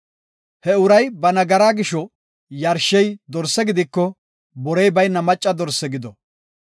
He uray ba nagaraa gisho yarshey dorse gidiko, borey bayna macca dorse gido.